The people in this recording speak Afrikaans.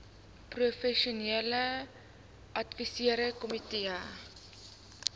professionele adviserende komitee